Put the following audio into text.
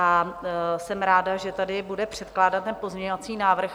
A jsem ráda, že tady bude předkládat ten pozměňovací návrh